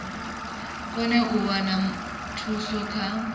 kone u wana thuso kha